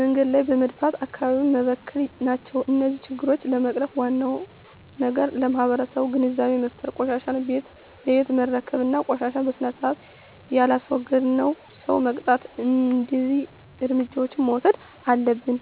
መንገድ ላይ በመድፋት አካባቢውን መበከል ናቸው። እነዚህን ችግሮች ለመቅረፍ ዋናው ነገር ለማህበረሠቡ ግንዛቤ መፍጠር፤ ቆሻሻን ቤት ለቤት መረከብ እና ቆሻሻን በስርአት የላስወገደን ሠው መቅጣት። እደዚህ እርምጃዎች መውሠድ አለብን።